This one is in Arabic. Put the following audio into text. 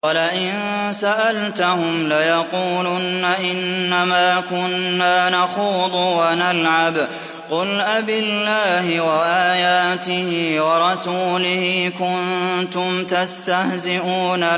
وَلَئِن سَأَلْتَهُمْ لَيَقُولُنَّ إِنَّمَا كُنَّا نَخُوضُ وَنَلْعَبُ ۚ قُلْ أَبِاللَّهِ وَآيَاتِهِ وَرَسُولِهِ كُنتُمْ تَسْتَهْزِئُونَ